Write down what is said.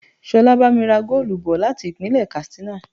Ṣolá bá mi ra goolu bò láti Ìpínlẹ̀ Katsina.